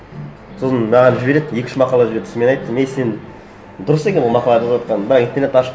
сосын маған жібереді екі үш мақала жіберді сосын мен айттым ей сен дұрыс екен ол мақалаларды жазып отырғанын бірақ интернетті ашып